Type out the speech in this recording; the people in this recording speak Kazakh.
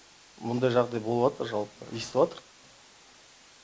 мұндай жағдай болыватыр жалпы естіватырық